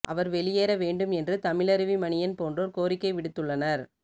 அவர் வெளியேற வேண்டும் என்று தமிழருவி மணியன் போன்றோர் கோரிக்கை விடுத்துள்ளனர்